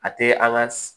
A tɛ an ka